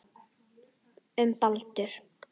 Um Baldur.